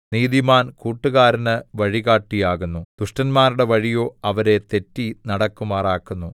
നീതിമാൻ കൂട്ടുകാരന് വഴികാട്ടിയാകുന്നു ദുഷ്ടന്മാരുടെ വഴിയോ അവരെ തെറ്റി നടക്കുമാറാക്കുന്നു